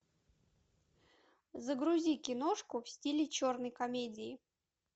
загрузи киношку в стиле черной комедии